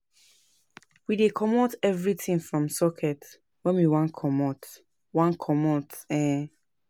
We dey comot everytin from socket wen we wan comot. wan comot. um